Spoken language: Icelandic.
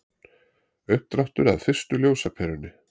uppdráttur að fyrstu ljósaperunni